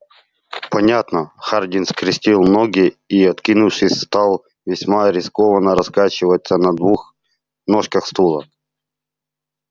понятно хардин скрестил ноги и откинувшись стал весьма рискованно раскачиваться на двух ножках стула